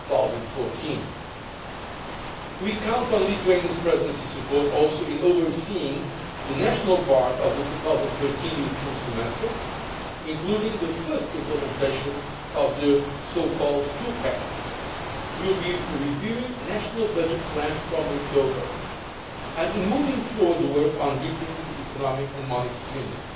2014. We count too on the Lithuanian Presidency's support in overseeing the national part of the 2013 European Semester, including the first implementation of the two pack we will be reviewing national budget plans from October and in moving forward the work on deepening Economic and Monetary Union.